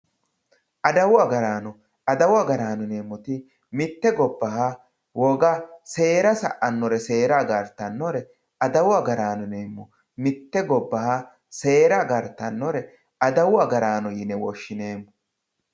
adawu agaraano adawu agaraano yineemmoti mitte gobbaha woga seera sa'annore seera agartannore adawu agaraano yineemmo mitte gobbaha seera agartannore adawu agaraano yine woshshineemmo.